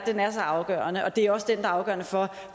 så afgørende og det er også den der er afgørende for